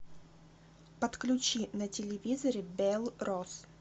подключи на телевизоре белрос